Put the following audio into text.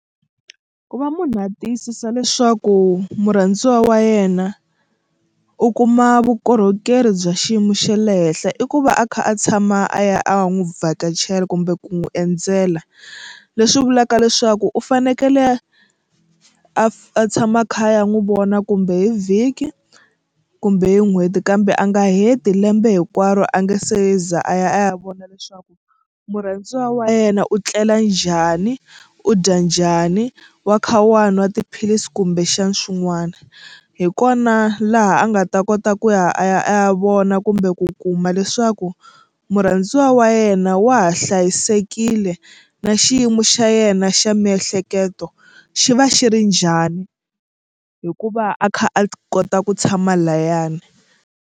Ku va munhu a tiyisisa leswaku murhandziwa wa yena u kuma vukorhokeri bya xiyimo xe le henhla i ku va a kha a tshama a ya a n'wi vhakachela kumbe ku n'wi endzela leswi vulaka leswaku u fanekele a a tshama a kha a ya n'wi vona kumbe hi vhiki kumbe n'hweti kambe a nga heti lembe hinkwaro a nge se za a ya a ya vona leswaku murhandziwa wa yena u tlela njhani u dya njhani wa kha wa nwa tiphilisi kumbexani swin'wana hi kona laha a nga ta kota ku ya a ya a ya vona kumbe ku kuma leswaku murhandziwa wa yena wa ha hlayisekile na xiyimo xa yena xa miehleketo xi va xi ri njhani hikuva a kha a kota ku tshama layani.